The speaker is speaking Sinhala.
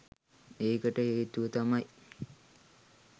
ඒකට හේතුව තමයි